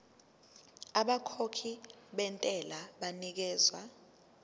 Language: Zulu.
abakhokhi bentela banikezwa